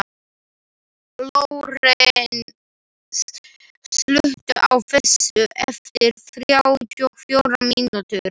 Lórens, slökktu á þessu eftir þrjátíu og fjórar mínútur.